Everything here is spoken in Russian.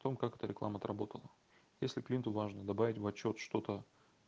потом как-то реклама отработал если клиенту важно добавить в отчёт что-то